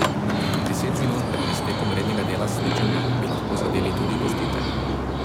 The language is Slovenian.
Deset minut pred iztekom rednega dela srečanja bi lahko zadeli tudi gostitelji.